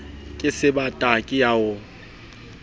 ke sebata ke ya o